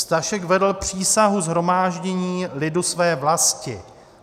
Stašek vedl přísahu shromáždění lidu své vlasti.